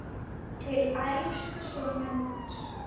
Til elsku sonar míns.